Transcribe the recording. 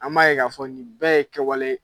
An b'a ye k'a fɔ nin bɛɛ ye kɛwale ye